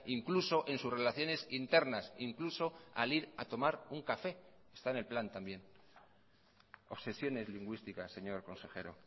incluso en sus relaciones internas incluso al ir a tomar un café está en el plan también obsesiones lingüísticas señor consejero